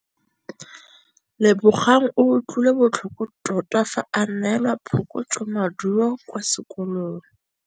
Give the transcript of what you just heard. Lebogang o utlwile botlhoko tota fa a neelwa phokotsômaduô kwa sekolong.